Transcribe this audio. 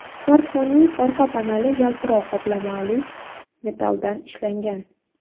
Smartfonning orqa paneli yaltiroq qoplamali metalldan ishlangan.